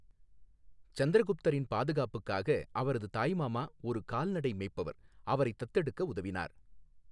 சந்திரகுப்தரின் பாதுகாப்புக்காக, அவரது தாய்மாமா ஒரு கால்நடை மேய்ப்பவர் அவரைத் தத்தெடுக்க உதவினார்.